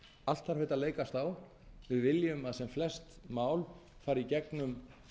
allt þarf þetta að leikast á við viljum að sem flest mál fari í gegnum